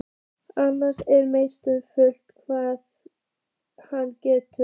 Annars er mesta furða hvað hann getur.